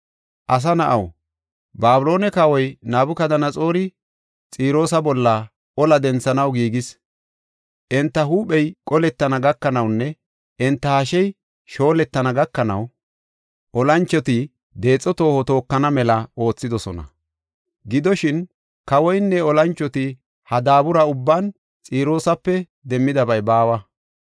“Asa na7aw, Babiloone kawoy Nabukadanaxoori Xiroosa bolla olaa denthanaw giigis. Enta huuphey qolettana gakanawunne enta hashey shooletana gakanaw olanchoti deexo tooho tookana mela oothidosona. Gidoshin, kawoynne olanchoti ha daabura ubban Xiroosape demmidabay baawa.